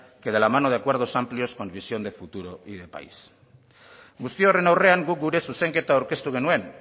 que de la mano de acuerdos amplios con visión de futuro y de país guzti horren aurrean guk gure zuzenketa aurkeztu genuen